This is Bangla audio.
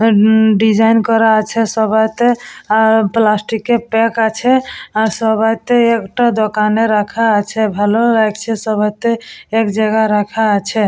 আর উমমম ডিসাইন করা আছে সবাইতে আর প্লাষ্টিক এর প্যাক আছে আর সবাইতে একটা দোকানে রাখা আছে ভালো লাগছে সবাইতে এক জায়গায় রাখা আছে ।